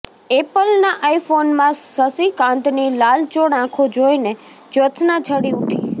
ઍપલના આઇફોનમાં શશીકાંતની લાલચોળ આંખો જોઈને જ્યોત્સ્ના છળી ઊઠી